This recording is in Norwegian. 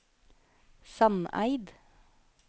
Sandeid